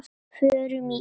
Förum í bíó.